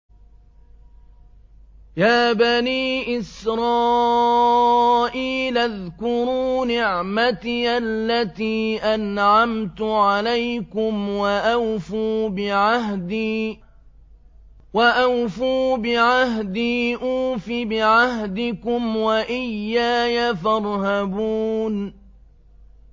يَا بَنِي إِسْرَائِيلَ اذْكُرُوا نِعْمَتِيَ الَّتِي أَنْعَمْتُ عَلَيْكُمْ وَأَوْفُوا بِعَهْدِي أُوفِ بِعَهْدِكُمْ وَإِيَّايَ فَارْهَبُونِ